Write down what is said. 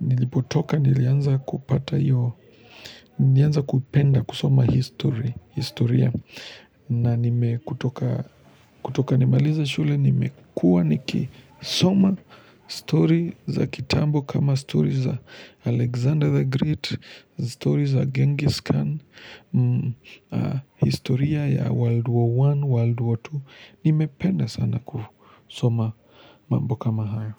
nilipotoka nilianza kupata hiyo. Nilianza kupenda kusoma historia. Na nime kutoka nimalize shule nimekuwa nikisoma stori za kitambo. Kama stori za Alexander the Great, stori za Gengis Khan. Historia ya world war one world war two nimependa sana kusoma mambo kama hayo.